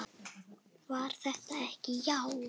Var það ekki, já!